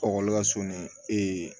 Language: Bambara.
lasonni